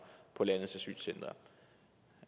på landets asylcentre